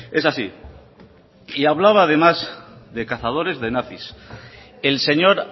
es así y hablaba además de cazadores de nazis el señor